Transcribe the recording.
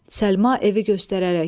Səlma evi göstərərək.